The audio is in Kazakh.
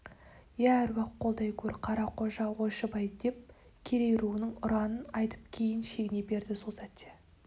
иә аруақ қолдай көр қарақожа ойшыбай деп керей руының ұранын айтып кейін шегіне берді сол сәтте